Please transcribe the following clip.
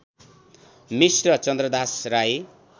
Mishra Chandradas Rai